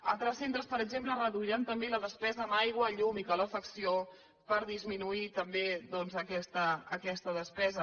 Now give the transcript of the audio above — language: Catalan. altres centres per exemple reduiran també la despesa en aigua llum i calefacció per disminuir també doncs aquesta despesa